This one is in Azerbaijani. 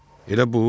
Elə bu?